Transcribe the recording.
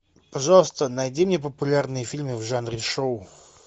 пожалуйста найди мне популярные фильмы в жанре шоу